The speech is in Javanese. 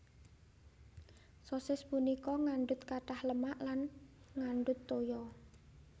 Sosis punika ngandut katah lemak lan ngandut toya